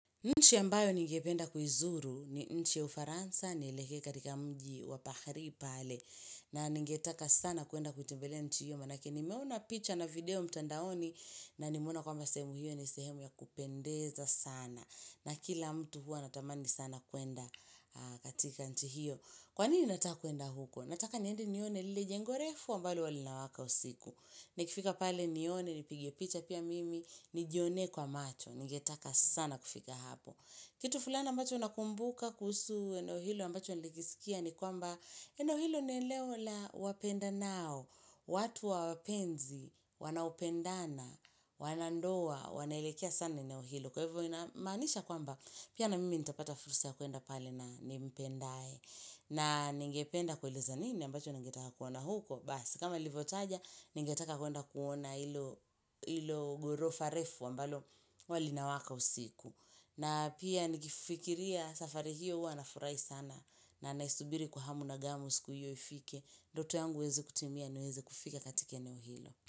Nchi a mbayo ningependa kiuzuru, ni nchi ya ufaransa, ni elekee katika mji wapahali pale, na ningetaka sana kuenda kutembelea nchi hiyo, manake ni meona picha na video mtandaoni, na nimeona kwa mbwasehemu hiyo ni sehemu ya kupendeza sana, na kila mtu hua anatamani sana kwenda katika nchi hiyo. Kwa nini nataka kwenda huko? Nataka niendi nione lile jengorefu ambalo huwalinawaka usiku. Nikifika pale nione, nipigie picha pia mimi, nijioone kwa macho, nigetaka sana kufika hapo. Kitu fulana ambacho nakumbuka kuhusu eneo hilo mbacho nilikisikia ni kwamba eneo hilo nieneola wapenda nao. Watu wa wapenzi, wanaopendana, wanandoa, wanaelekea sana eneo hilo. Kwa hivyo namaanisha kwamba pia na mimi nitapata fursa ya kwenda pale na nimpendae. Na ningependa kueleza nini ambacho nangetaka kuona huko. Basi kama nili vyotaja ningetakakwenda kuona ilo ghoro farefu ambalo huwali nawaka usiku. Na pia nikifikiria safari hiyo huwanafurahi sana na naisubiri kwa hamu na gamu siku hiyo ifike. Ndoto yangu iweze kutimia ni weze kufika katike eneohilo.